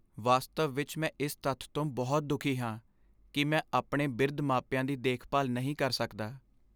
ਵਾਸਤਵ ਵਿਚ ਮੈਂ ਇਸ ਤੱਥ ਤੋਂ ਬਹੁਤ ਦੁਖੀ ਹਾਂ ਕਿ ਮੈਂ ਆਪਣੇ ਬਿਰਧ ਮਾਪਿਆਂ ਦੀ ਦੇਖਭਾਲ ਨਹੀਂ ਕਰ ਸਕਦਾ।